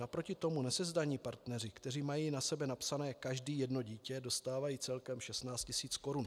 Naproti tomu nesezdaní partneři, kteří mají na sebe napsané každý jedno dítě, dostávají celkem 16 tisíc korun.